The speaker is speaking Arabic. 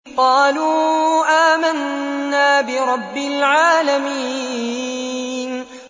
قَالُوا آمَنَّا بِرَبِّ الْعَالَمِينَ